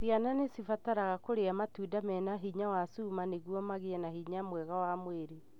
Ciana nĩcibataraga kũria matunda mena hinya wa cuma nĩguo magĩe na ũgima mwega wa mwĩrĩ.